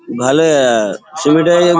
ভালোই আ ছবিটায় এই--